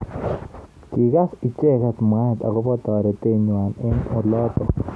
Kikas icheket mwaet akobo toretet nywa ing olotok.